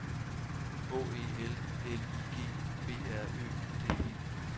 H E L L I G B R Ø D E